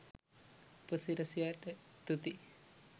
උපසිරැසියට තුති